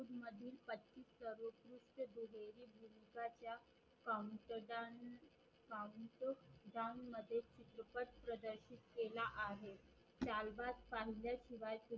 पाकंनजाण पाकंनजाण मध्ये सुखद प्रदरशीत केला आहे शिवाय